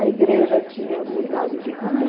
A igreja tinha mudado de rumo.